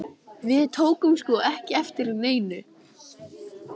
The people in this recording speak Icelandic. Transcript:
Við tókum sko ekki eftir neinu.